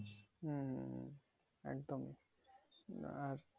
হম একদম আর